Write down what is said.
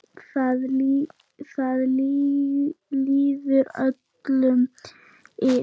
Það líður öllum illa.